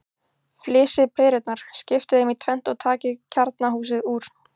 Flysjið perurnar, skiptið þeim í tvennt og takið kjarnahúsið úr.